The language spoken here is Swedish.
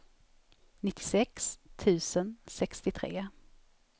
nittiosex tusen sextiotre